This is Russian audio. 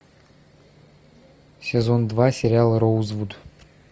сезон два сериал роузвуд